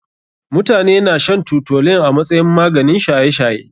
Mutane na shan toutolin a masayin maganin shaye shaye.